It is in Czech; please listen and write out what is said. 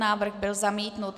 Návrh byl zamítnut.